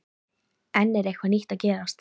En er eitthvað nýtt að gerast?